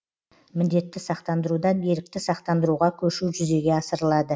міндетті сақтандырудан ерікті сақтандыруға көшу жүзеге асырылады